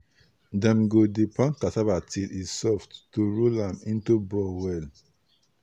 dem go dey pound cassava till e soft to roll am into ball well.